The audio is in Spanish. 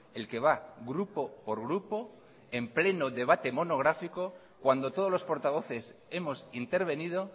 el que va grupo por grupo en pleno debate monográfico cuando todos los portavoces hemos intervenido